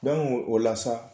o la sa